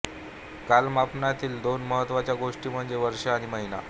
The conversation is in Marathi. कालमापनातील दोन महत्त्वाच्या गोष्टी म्हणजे वर्ष आणि महिना